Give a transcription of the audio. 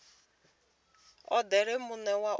odele muno u re na